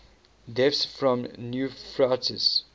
deaths from nephritis